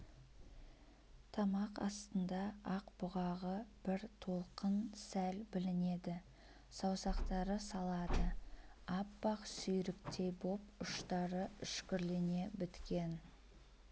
тамақ астында ақ бұғағы бір толқын сәл білінеді саусақтары салады аппақ сүйріктей боп ұштары үшкірлене біткен